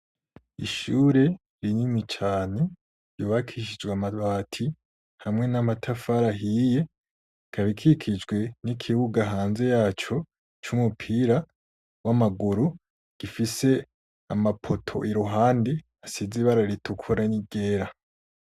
Ishure rinini cane ryubakishijwe amabati hamwe n'amatafari ahiye, ikaba ikikijwe n'ikibuga hanze yaco c'umupira w'amaguru gifise amapoto iruhande asize ibara ritukura n'iryera.